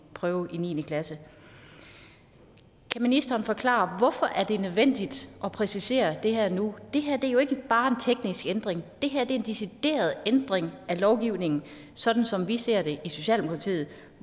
prøve i niende klasse kan ministeren forklare hvorfor det er nødvendigt at præcisere det her nu det her er jo ikke bare en teknisk ændring det her er en decideret ændring af lovgivningen sådan som vi ser det i socialdemokratiet